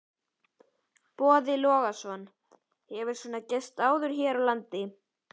Boði Logason: Hefur svona gerst áður hér á landi?